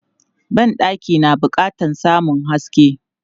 Ban ɗaki na bukatan samun haske.